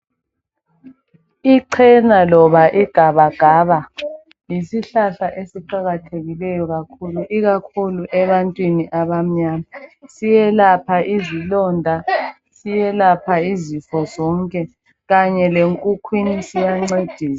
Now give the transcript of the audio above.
Ichena loba igabagaba yisihlahla esiqakathekileyo kakhulu ikakhulu ebantwini abamnyama. Siyelapha izilonda, siyelapha izifo zonke kanye lenkukhwini siyancedisa.